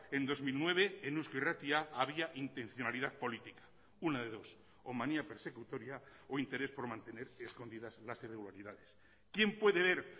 en dos mil nueve en eusko irratia había intencionalidad política una de dos o manía persecutoria o interés por mantener escondidas las irregularidades quién puede ver